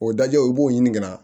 O dajɛ i b'o ɲini ka na